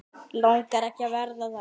Langar ekki að vera það.